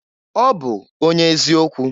Ọ bụ onye eziokwu.